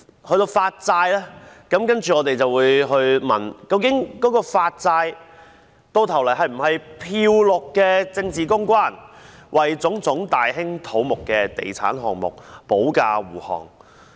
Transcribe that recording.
對於發債，我們便會問，究竟發債最後是否"漂綠"的政治公關，為種種大興土木的地產項目保駕護航？